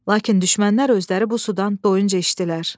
Lakin düşmənlər özləri bu sudan doyunca içdilər.